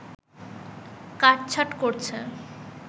কাট-ছাঁট করছে